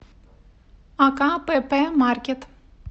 акпп маркет